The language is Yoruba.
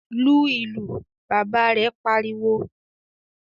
"Lu ìlù!" Bàbá rẹ̀ pariwo.